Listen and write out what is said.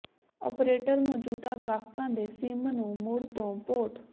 operator ਮੌਜੂਦਾ ਗਾਹਕਾਂ ਦੇ ਸਿਮ ਨੂੰ ਮੁੜ ਤੋਂ ਪੋਰਟ